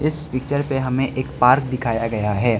इस पिक्चर पे हमें एक पार्क दिखाया गया है।